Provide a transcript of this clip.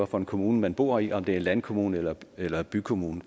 for en kommune man bor i om det er en landkommune eller eller bykommune